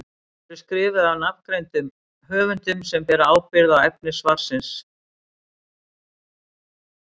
Þau eru skrifuð af nafngreindum höfundum sem bera ábyrgð á efni svarsins.